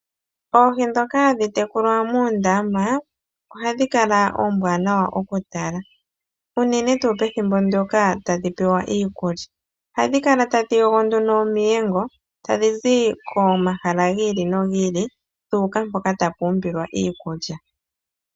Oohi ndhoka hadhi tekulwa moondama, ohadhi kala oombwanawa okutala. Unene tuu pethimbo ndyoka tadhi pewa iikulya. Ohadhi kala tadhi yogo nduno omiyengo, tadhi zi komahala gi ili nogi ili, dhu uka mpoka tapu umbilwa iikulya.